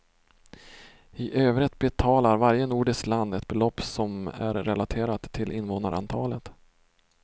I övrigt betalar varje nordiskt land ett belopp som är relaterat till invånarantalet.